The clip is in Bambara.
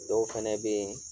Dɔw fɛnɛ bɛ ye